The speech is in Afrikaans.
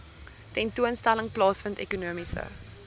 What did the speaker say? tentoonstelling plaasvind ekonomiese